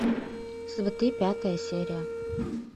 сваты пятая серия